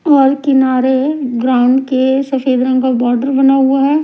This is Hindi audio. और किनारे ग्राउंड के सफेद रंग का बॉर्डर बना हुआ है।